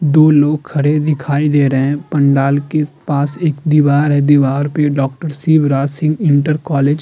दो लोग खड़े दिखाई दे रहे हैं। पंडाल में पास एक दीवार है। दीवार पे doctor Shivraj Singh inter college --